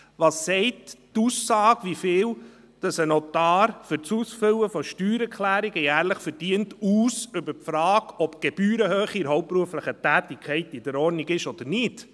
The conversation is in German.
Was sagt die Aussage, wie viel ein Notar für das Ausfüllen von Steuererklärungen jährlich verdient, über die Frage aus, ob die Gebührenhöhe in der hauptberuflichen Tätigkeit in Ordnung ist oder nicht?